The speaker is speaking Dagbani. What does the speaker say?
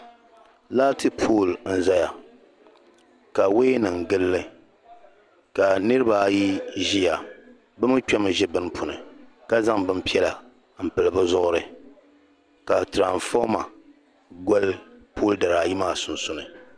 Laati pooli n-zaya ka wayanima n-gili li ka niriba ayi ʒiya bɛ mi kpɛmi ʒi bini puuni ka zaŋ bin' piɛla m-pili bɛ zuɣuri ka tiramfoma gɔli pooli dari ayi sunsuuni.